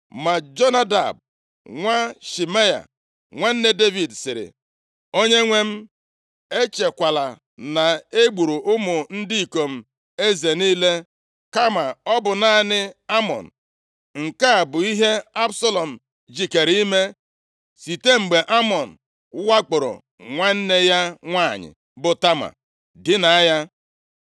Ma Jonadab, nwa Shimea, nwanne Devid, sịrị, “Onyenwe m, echekwala na e gburu ụmụ ndị ikom eze niile, kama ọ bụ naanị Amnọn! Nke a bụ ihe Absalọm jikere ime site mgbe Amnọn wakporo nwanne ya nwanyị bụ Tama, dina ya.